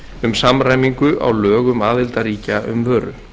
um samræmingu á lögum aðildarríkja um vöru